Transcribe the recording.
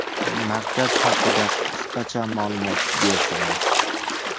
Markaz haqida qisqacha ma’lumot bersangiz?